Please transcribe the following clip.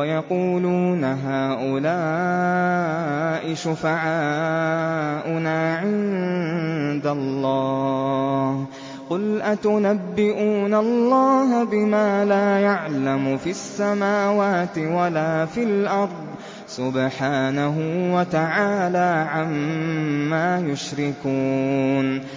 وَيَقُولُونَ هَٰؤُلَاءِ شُفَعَاؤُنَا عِندَ اللَّهِ ۚ قُلْ أَتُنَبِّئُونَ اللَّهَ بِمَا لَا يَعْلَمُ فِي السَّمَاوَاتِ وَلَا فِي الْأَرْضِ ۚ سُبْحَانَهُ وَتَعَالَىٰ عَمَّا يُشْرِكُونَ